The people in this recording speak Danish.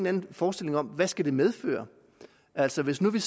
anden forestilling om hvad det skal medføre altså hvis vi